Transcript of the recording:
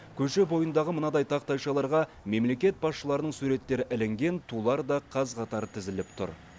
көше бойындағы мынадай тақтайшаларға мемлекет басшыларының суреттері ілінген тулар да қаз қатар тізіліп тұр